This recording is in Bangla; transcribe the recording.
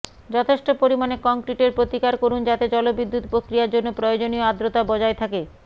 যথেষ্ট পরিমাণে কংক্রিটের প্রতিকার করুন যাতে জলবিদ্যুৎ প্রক্রিয়ার জন্য প্রয়োজনীয় আর্দ্রতা বজায় থাকে